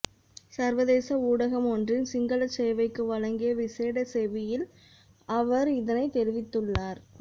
சர்வதேச ஊடகம் ஒன்றின் சிங்களச் சேவைக்கு வழங்கிய விசேட செவ்வியில் அவர் இதனைத் தெரிவித்துள்ளார்